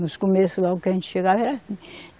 No começo, logo que a gente chegava, era assim.